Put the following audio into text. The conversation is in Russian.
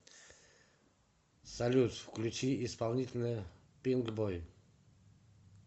салют включи исполнителя пинкбой